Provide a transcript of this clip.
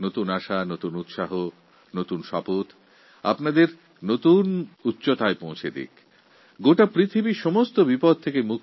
নতুন আনন্দ নতুন আশা নতুন সংকল্প আপনাদের নতুন এক উচ্চতার শিখরে পৌঁছে দিক